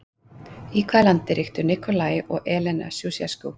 Í hvað landi ríktu Nikolae og Elena Sjúsjeskú?